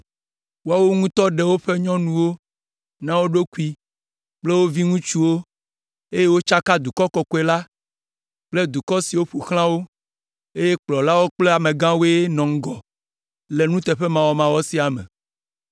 Woawo ŋutɔ ɖe woƒe nyɔnuwo na wo ɖokui kple wo viŋutsuwo, eye wotsaka dukɔ kɔkɔe la kple dukɔ siwo ƒo xlã wo, eye kplɔlawo kple amegãwoe nɔ ŋgɔ le nuteƒemawɔmawɔ sia me.”